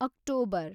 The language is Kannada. ಆಕ್ಟೋಬರ್